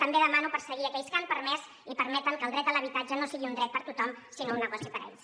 també demano perseguir aquells que han permès i permeten que el dret a l’habitatge no sigui un dret per a tothom sinó un negoci per a ells